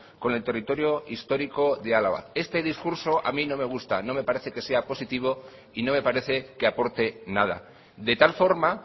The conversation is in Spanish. con el territorio histórico de álava este discurso a mí no me gusta no me parece que sea positivo y no me parece que aporte nada de tal forma